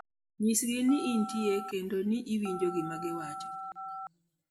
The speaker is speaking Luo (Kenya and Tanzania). Nyisgi ni intie kendo ni iwinjo gima giwacho.